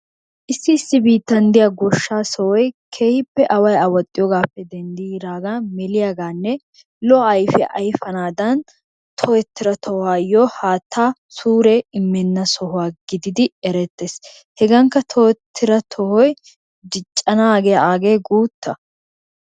Issi issi biittan diya goshshaa sohoy keehippe away awaxxiyogaappe denddidaagan meliyagaanne lo'o ayifiya ayifanaadan tohettida tohuwayyo haattaa suure immenna sohuwa gididi erettes. Hegankka tohettida tohoy diccanaagee aagee guutta.